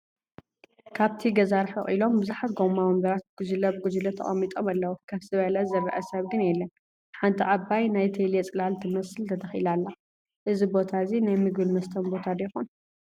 ካብቲ ገዛ ርሕቕ ኢሎም ብዙሓት ጎማ ወንበራት ብጉጅለ ብጉጅለ ተቐሚጦም ኣለው፡፡ ከፍ ዝበለ ዝረአ ሰብ ግን የለን፡ ሓንቲ ዓባይ ናይ ቴሌ ፅላል ትመስል ተተኺላ ኣላ፡፡ እዚ ቦታ እዚ ናይ ምግብን መስተን ቦታ ዶ ይኾን?